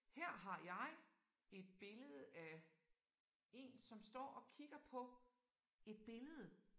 Her har jeg et billede af én som står og kigger på et billede